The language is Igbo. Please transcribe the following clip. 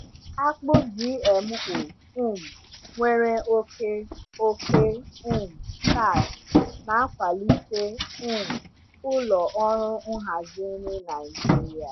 Akpụ GMO um nwere oke oke um starch na-akwalite um ụlọ ọrụ nhazi nri Naijiria.